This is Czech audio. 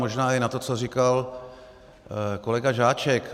Možná i na to, co říkal kolega Žáček.